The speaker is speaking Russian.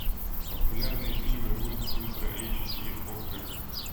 популярные фильмы ультра эйч ди окко